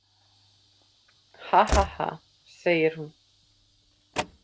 Hahaha, segir hún.